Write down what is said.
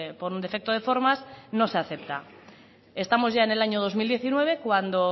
por un defecto de formas no se acepta estamos ya en el año dos mil diecinueve cuando